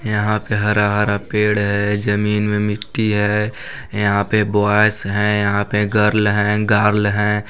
यहाँ पे हरा हरा पेड़ है जमीन में मिट्टी है यहाँ पे बॉय्ज़ हैं यहाँ पे गर्ल हैं गर्ल हैं।